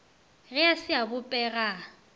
ge a se a bopega